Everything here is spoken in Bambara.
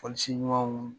Fɔlisen ɲumanw